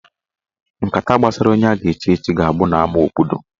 Nkata gbasara onye a ga-echi echichi ga-abụ n'ama obodo.